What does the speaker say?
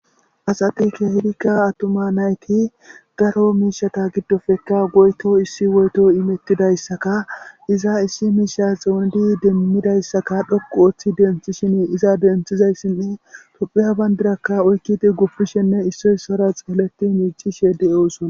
Asati kehidikka attuma nayti daro miishata giddofekka goyto issi woyto imettidayssaka iza issi miisha xuunidi demmidayssaka dhoqu ooththi denthishin iza denthizayssinne topheya bayndirakka oykkidi gupishenne issoysora xeeleti miichishe de eosona